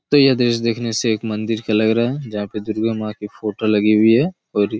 तो ये दृश्य देखने से एक मन्दिर का लग रहा है जहाँ पे दुर्गा माँ की फोटो लगी हुई है और--